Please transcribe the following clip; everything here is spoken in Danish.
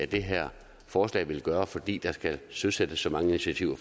det her forslag vil gøre fordi der skal søsættes så mange initiativer